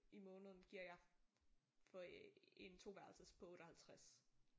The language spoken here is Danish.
I måneden giver jeg for en toværelses på 58